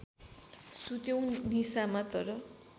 सुत्यौँ निशामा तर